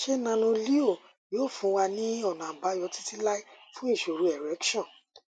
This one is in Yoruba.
ṣé nanoleo yóò fún wa ní ọnà àbáyọ títí láé fún ìṣòro erection